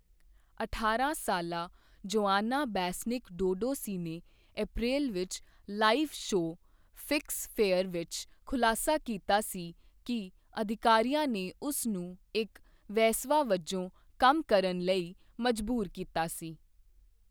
ਅਠਾਰਾਂ ਸਾਲਾ Joana Besnik Duduci ਨੇ ਅਪ੍ਰੈਲ ਵਿੱਚ ਲਾਈਵ ਸ਼ੋਅ 'ਫਿਕਸ ਫੇਅਰ' ਵਿੱਚ ਖੁਲਾਸਾ ਕੀਤਾ ਸੀ ਕਿ ਅਧਿਕਾਰੀਆਂ ਨੇ ਉਸ ਨੂੰ ਇੱਕ ਵੇਸਵਾ ਵਜੋਂ ਕੰਮ ਕਰਨ ਲਈ ਮਜਬੂਰ ਕੀਤਾ ਸੀ।